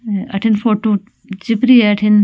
अठीने फोटू चिपरी है अठीने।